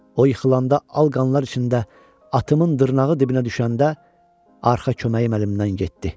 O yıxılanda, al qanlar içində atımın dırnağı dibinə düşəndə arxa köməyim əlimdən getdi.